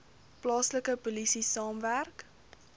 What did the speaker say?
plaaslike polisie saamwerk